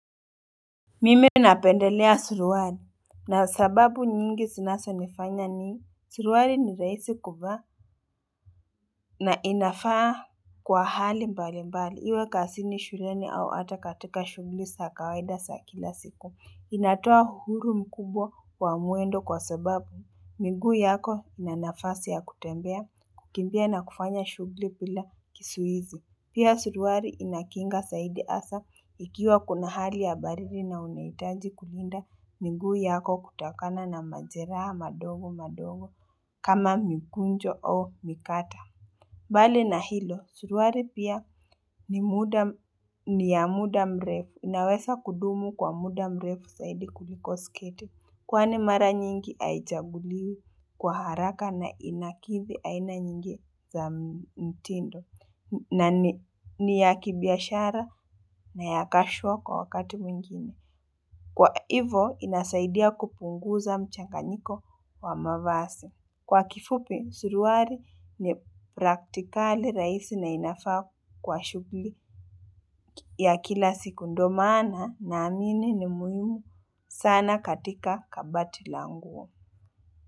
Mimi napendelea suruali na sababu nyingi zinazonifanya ni suruali ni raisi kuvaa na inafaa kwa hali mbalimbali iwe kasini shuleni au ata katika shugli sa kawaida sa kila siku inatoa huru mkubwa wa mwendo kwa sababu miguu yako ina nafasi ya kutembea, kukimbia na kufanya shugli pila kisuizi. Pia suruari inakinga saidi asa, ikiwa kuna hali ya baridi na unaitaji kulinda, miguu yako kutokana na majeraha madogo madogo, kama migunjo au mikata. Bali na hilo, suruari pia ni ya muda mrefu, inawesa kudumu kwa muda mrefu saidi kuliko sketi. Kwani mara nyingi aichaguliwi kwa haraka na inakidhi aina nyingi za mtindo na ni ya kibiashara na ya kashwa kwa wakati mwingine. Kwa hivo inasaidia kupunguza mchanganyiko wa mavasi. Kwa kifupi, suruari ni praktikali raisi na inafaa kwa shughli ya kila siku ndo maana naamini ni muhimu sana katika kabati la nguo.